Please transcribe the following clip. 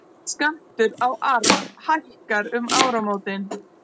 Skattur á arf hækkar um áramótin